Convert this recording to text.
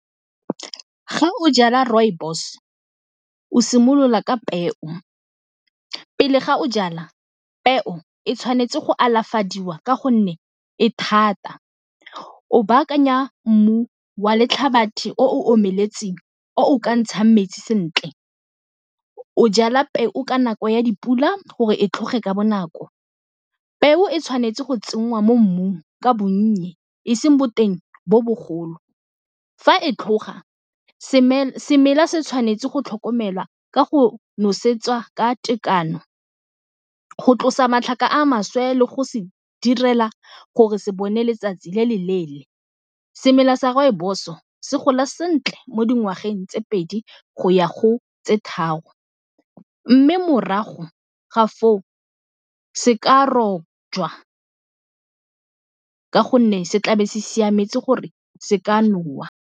Ga o jala rooibos o simolola ka peo pele, ga o jala peo e tshwanetse go alafadiwa ka gonne e thata, o baakanya mmu wa o omeletseng o o ka ntshang metsi sentle. O jala peo o ka nako ya dipula gore e tlhoge ka bonako. Peo e tshwanetse go tsenngwa mo mmung ka bonye e seng boteng bo bogolo, fa e tlhoga semela se tshwanetse go tlhokomelwa ka go nosetswa ka tekano, go tlosa matlhaka a maswe le go se direla gore se bone letsatsi le le leele. Semela sa rooibos-o se gola sentle mo dingwageng tse pedi go ya go tse tharo mme morago ga foo se ka rojwa ka gonne se tla be se siametse gore se ka nowa.